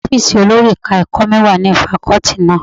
Ọ́fíìsì olórí ẹ̀ka ẹ̀kọ́ mi wà ní fakọ́tì náà.